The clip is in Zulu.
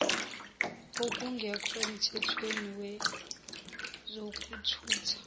okungekho emthethweni kwezokuthutha